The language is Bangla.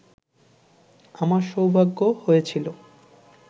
আমার সৌভাগ্য হয়েছিল